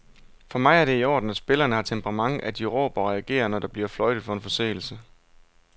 For mig er det i orden, at spillerne har temperament, at de råber og reagerer, når der bliver fløjtet for en forseelse.